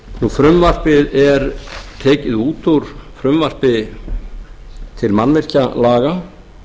frumvarpið er tekið út úr frumvarpi til mannvirkjalaga